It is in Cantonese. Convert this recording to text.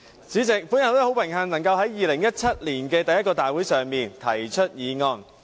主席，我很榮幸能夠在2017年第一個大會上提出議案。